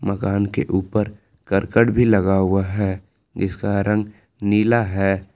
मकान के ऊपर करकट भी लगा हुआ है इसका रंग नीला है।